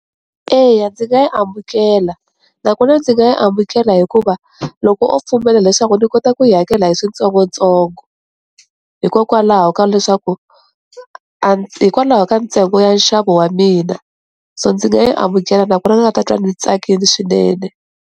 Eya, ndzi nga yi amukela nakona ndzi nga yi amukela hikuva loko o pfumela leswaku ni kota ku yi hakela hi switsongotsongo hikokwalaho ka leswaku hikwalaho ka ntsengo ya nxavo wa mina so ndzi nga yi amukela nakona ni nga ta twa ni tsakile swinene.